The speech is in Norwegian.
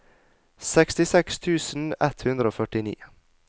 sekstiseks tusen ett hundre og førtini